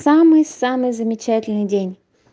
самый самый замечательный день